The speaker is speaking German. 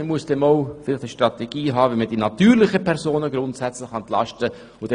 Man braucht dann vielleicht einmal eine Strategie, wie man die natürlichen Personen grundsätzlich entlasten kann.